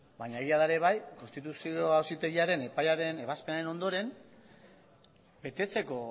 baina egia da ere bai konstituzio auzitegiaren epaiaren ebazpenen ondoren betetzeko